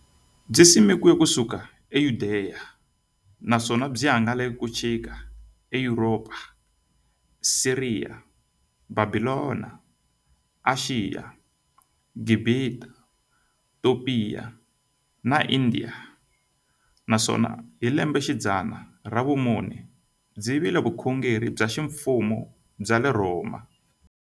Byisimekiwe ku suka e Yudeya, naswona byi hangalake ku xika e Yuropa, Siriya, Bhabhilona, Ashiya, Gibhita, Topiya na Indiya, naswona hi lembexidzana ra vumune byi vile vukhongeri bya ximfumo bya le Rhoma.